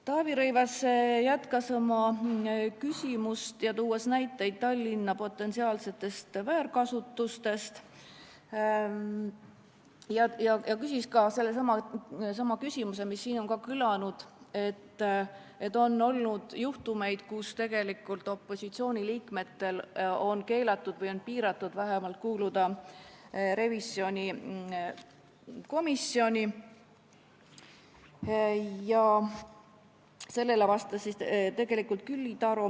Taavi Rõivas jätkas oma küsimust, tuues näiteid Tallinna potentsiaalsete väärkasutuste kohta, ja esitas sellesama väite, mis siin on kõlanud, et on olnud juhtumeid, kui opositsiooni liikmetel on keelatud kuuluda revisjonikomisjoni või on seda õigust vähemalt piiratud.